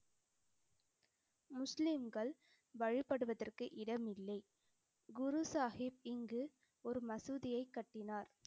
முஸ்லிம்கள் வழிபடுவதற்கு இடமில்லை. குரு சாஹிப் இங்கு ஒரு மசூதியைக் கட்டினார்.